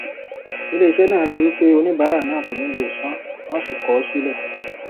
iléiṣẹ náà rí i wípé oníbàárà náà kò ní lè sanwọn sì kọ ọ sílẹ